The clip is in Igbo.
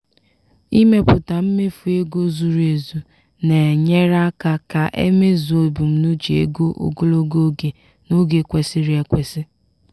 ịmepụta mmefu ego zuru ezu na-enyere aka ka e e mezuo ebumnuche ego ogologo oge n’oge kwesịrị ekwesị.